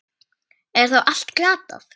Er þá allt glatað?